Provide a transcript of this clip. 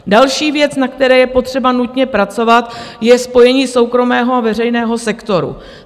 Další věc, na které je potřeba nutně pracovat, je spojení soukromého a veřejného sektoru.